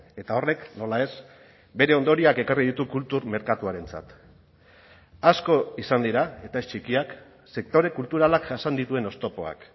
eta horrek nola ez bere ondorioak ekarri ditu kultur merkatuarentzat asko izan dira eta ez txikiak sektore kulturalak jasan dituen oztopoak